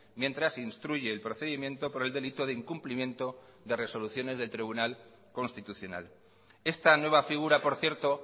mientras instruye el procedimiento por el delito de incumplimiento de resoluciones del tribunal constitucional esta nueva figura por cierto